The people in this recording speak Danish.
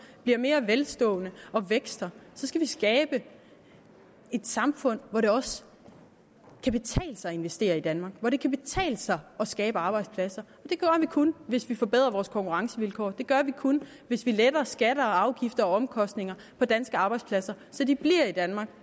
bliver mere velstående og vækster så skal vi skabe et samfund hvor det også kan betale sig at investere i danmark hvor det kan betale sig at skabe arbejdspladser det gør vi kun hvis vi forbedrer vores konkurrencevilkår det gør vi kun hvis vi letter skatter og afgifter og omkostninger på danske arbejdspladser så de bliver i danmark